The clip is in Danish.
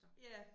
Ja